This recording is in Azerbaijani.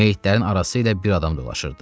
Meyitlərin arası ilə bir adam dolaşırdı.